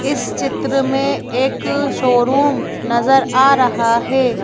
इस चित्र में एक शोरूम नजर आ रहा है।